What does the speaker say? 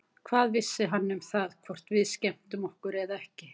Hvað vissi hann um það, hvort við skemmtum okkur eða ekki?